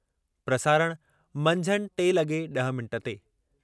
प्रसारणः– मंझंदि टे लगे॒ ड॒ह मिंट ते।